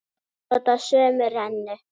Þau nota sömu rennu.